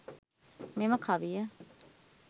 මෙම කවිය